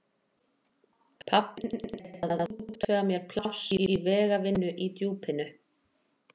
Pabbi þinn er búinn að útvega þér pláss í vegavinnu í Djúpinu.